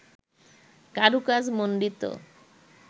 কারুকাজ মন্ডিত